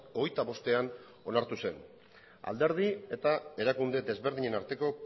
hogeita bostean onartu zen alderdi eta erakunde desberdinen arteko